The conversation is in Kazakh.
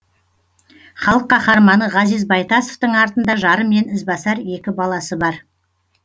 халық қаһарманы ғазиз байтасовтың артында жары мен ізбасар екі баласы бар